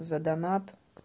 за донат